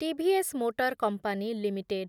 TVS motor company limited